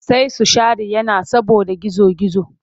Sai su share yana saboda gizo-gizo.